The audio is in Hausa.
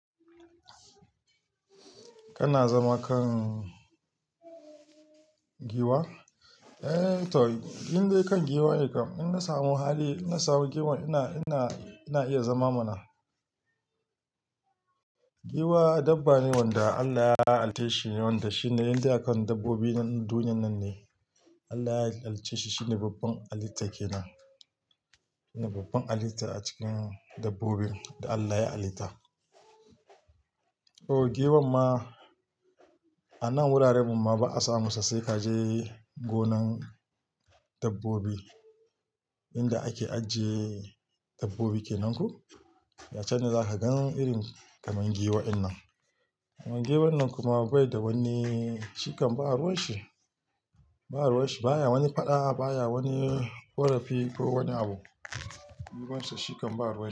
Kana zama kan giwa? Eh, to in dai kan giwa ne kam. In na samu hali, in na samu giwan ina, ina, ina iya zama mana. Giwa dabba ne wanda Allah ya halicce shi wanda shine indai a kan dabbobin duniyan nan ne. Allah ya halicce shi, shine babban halitta ke nan, shine babban halitta a cikin dabbobin da Allah ya halitta. O giwan ma a nan wuraren mu ma ba a samu su sai ka je gonan dabbobi. Inda ake ajiye dabbobi kenan ko, ya can ne za ka gan irin kamar giwa in nan. Giwan nan kuma bai da wani shikam, ba a ruwan shi, ba a ruwan shi, baya wani faɗa, baya wani ƙorafi ko wani abu. Giwan shi shikan ba ruwa.